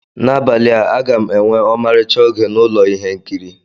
N'abalị a, a ga m enwe ọmarịcha oge na ụlọ ihe nkiri.